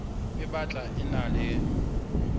e batla e ena le